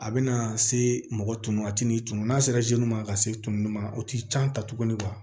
A bɛna se mɔgɔ tunun a tigi tun n'a sera ma ka se tununi ma o tɛ an ta tugun